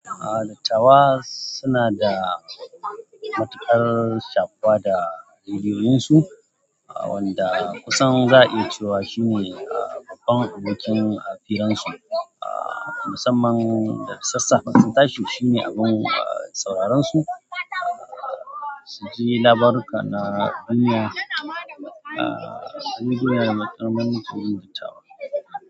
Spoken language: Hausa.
A dattawa suna da matuƙar shakuwa da rediyoyinsu wanda kusan za a iya cewa shine babban abokin a firansu. A musamman da sassaƙa sun tashi shine abun sauraron su su ji labaruka na duniya a rediyo da matuƙar ban tsoro da tawa.